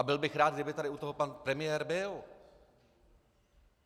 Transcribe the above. A byl bych rád, kdyby tady u toho pan premiér byl.